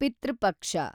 ಪಿತೃ ಪಕ್ಷ